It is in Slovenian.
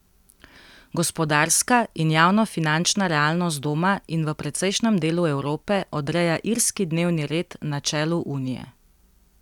Gospodarska in javnofinančna realnost doma in v precejšnjem delu Evrope odreja irski dnevni red na čelu Unije.